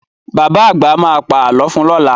Bàbá àgbà ma pà lọ fun lọ́la